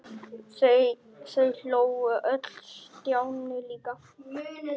Þau hlógu öll- Stjáni líka.